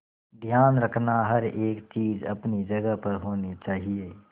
ध्यान रखना हर एक चीज अपनी जगह पर होनी चाहिए